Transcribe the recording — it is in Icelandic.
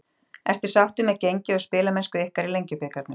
Ertu sáttur með gengi og spilamennsku ykkar í Lengjubikarnum?